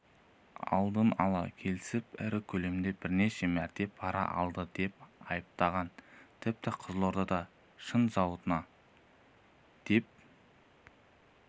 алдын-ала келісіп ірі көлемде бірнеше мәрте пара алды деп айыпталған тіпті қызылордадағы шыны зауытына деп